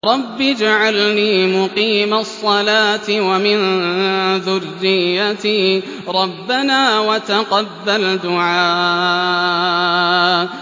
رَبِّ اجْعَلْنِي مُقِيمَ الصَّلَاةِ وَمِن ذُرِّيَّتِي ۚ رَبَّنَا وَتَقَبَّلْ دُعَاءِ